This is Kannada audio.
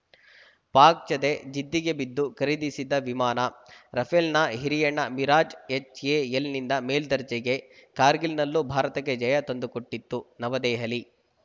ಪಾಕ್‌ ಜತೆ ಜಿದ್ದಿಗೆ ಬಿದ್ದು ಖರೀದಿಸಿದ್ದ ವಿಮಾನ ರಫೇಲ್‌ನ ಹಿರಿಯಣ್ಣ ಮಿರಾಜ್‌ ಎಚ್‌ಎಎಲ್‌ನಿಂದ ಮೇಲ್ದರ್ಜೆಗೆ ಕಾರ್ಗಿಲ್‌ನಲ್ಲೂ ಭಾರತಕ್ಕೆ ಜಯ ತಂದುಕೊಟ್ಟಿತ್ತು ನವದೆಹಲಿ